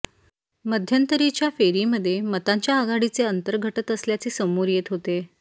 मध्यंतरीच्या फेरीमध्ये मतांच्या आघाडीचे अंतर घटत असल्याचे समोर येत होते